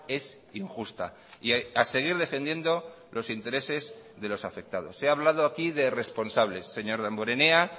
es injusta y a seguir defendiendo los intereses de los afectados se ha hablado aquí de responsables señor damborenea